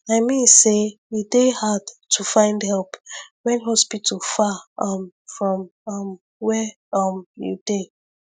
i mean say e dey hard to find help when hospital far um from um where um you dey